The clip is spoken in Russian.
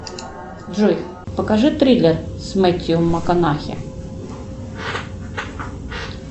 джой покажи триллер с мэтью макконахи